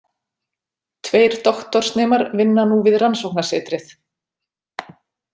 Tveir doktorsnemar vinna nú við rannsóknasetrið.